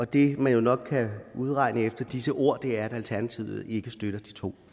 det man jo nok kan regne ud efter disse ord er at alternativet ikke støtter de to